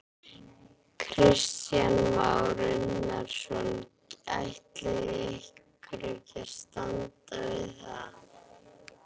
Kristján Már Unnarsson: Ætlið þið ykkur að standa við það?